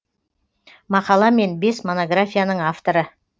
мақала мен бес монографияның авторы